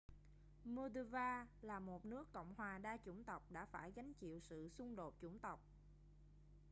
moldova là một nước cộng hòa đa chủng tộc đã phải gánh chịu sự xung đột chủng tộc